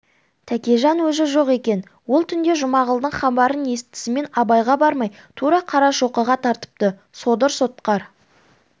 тәкежан өзі жоқ екен ол түнде жұмағұлдың хабарын естісімен абайға бармай тура қарашоқыға тартыпты содыр сотқар